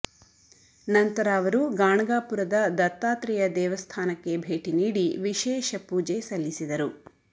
ನಂತರ ಅವರು ಗಾಣಗಾಪುರದ ದತ್ತಾತ್ರೇಯ ದೇವಸ್ಥಾನಕ್ಕೆ ಭೇಟಿ ನೀಡಿ ವಿಶೇಷ ಪೂಜೆ ಸಲ್ಲಿಸಿದರು